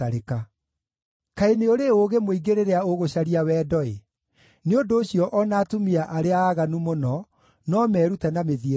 Kaĩ nĩ ũrĩ ũũgĩ mũingĩ rĩrĩa ũgũcaria wendo-ĩ! Nĩ ũndũ ũcio o na atumia arĩa aaganu mũno no merute na mĩthiĩre yaku.